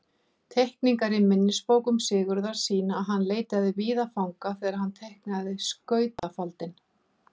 Teikningar í minnisbókum Sigurðar sýna að hann leitaði víða fanga þegar hann teiknaði skautafaldinn.